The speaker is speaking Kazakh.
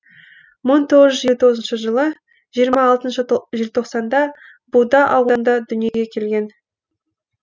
мың тоғыз жүз елу тоғызыншы жылы жиырма алтыншы желтоқсанда буда ауылында дүниеге келген